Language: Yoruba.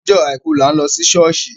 Ọjọ́ àìkù là ń lọ sí ṣọ̀ọ́ṣì.